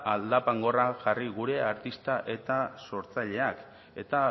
aldapan gora jarri gure artista eta sortzaileak eta